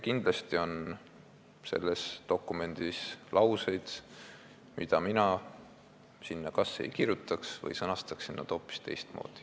Kindlasti on selles dokumendis ka lauseid, mida mina sinna kas ei kirjutaks või mille ma sõnastaksin hoopis teistmoodi.